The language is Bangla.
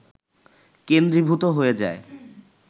কেন্দ্রীভূত হয়ে যায়